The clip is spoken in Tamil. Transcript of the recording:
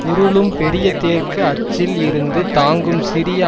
உருளும் பெரிய தேர்க்கு அச்சில் இருந்து தாங்கும் சிறிய